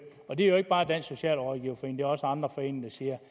og det er ikke bare dansk socialrådgiverforening også andre foreninger siger